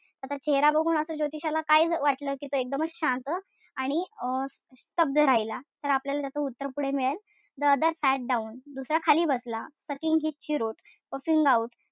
त्याचा चेहरा बघून ज्योतिषाला काय वाटलं कि एकदमच शांत आणि अं स्तब्ध राहिला. तर आपल्याला त्याच उत्तर पुढे मिळेल. The other sat down दुसरा खाली बसला. Sucking his cheroot puffing out.